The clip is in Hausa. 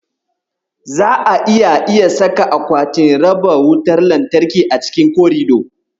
Za'a iya iya saka akwatin raba wutar lantarki a cikin korido.